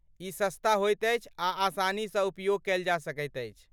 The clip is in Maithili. ई सस्ता होइत अछि आ आसानीसँ उपयोग कयल जा सकैत अछि।